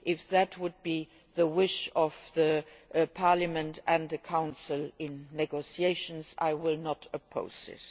only. If that is the wish of the Parliament and the Council in negotiations, I will not oppose it.